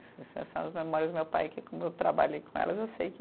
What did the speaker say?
Essas são as memórias do meu pai, que como eu trabalhei com elas, eu sei que